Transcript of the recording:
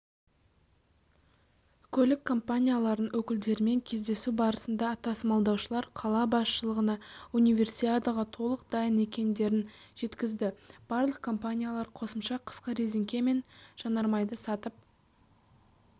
көлік компанияларының өкілдерімен кездесу барысында тасымалдаушылар қала басшылығына универсиадаға толық дайын екендерін жеткізді барлық компаниялар қосымша қысқы рәзеңке мен жанармайды сатып